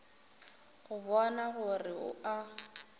go bona gore o a